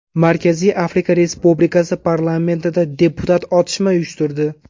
Markaziy Afrika Respublikasi parlamentida deputat otishma uyushtirdi.